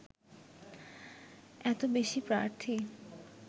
এতো বেশি প্রার্থী